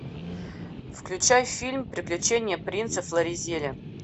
включай фильм приключения принца флоризеля